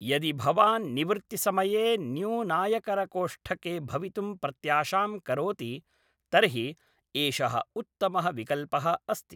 यदि भवान् निवृत्तिसमये न्यूनायकरकोष्ठके भवितुं प्रत्याशां करोति तर्हि एषः उत्तमः विकल्पः अस्ति।